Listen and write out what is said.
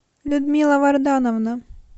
людмила вардановна